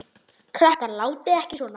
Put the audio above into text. Krakkar látiði ekki svona!